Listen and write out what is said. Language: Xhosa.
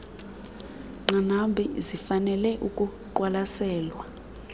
nqanaba zifanele ukuqwalaselwa